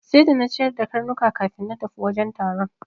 Sai da na ciyar da karnukan kafin na tafi wajen taron.